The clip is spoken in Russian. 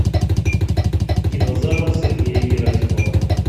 динозавр сергея герасимова